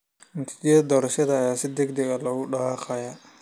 Natiijada doorashada ayaa si degdeg ah loogu dhawaaqay.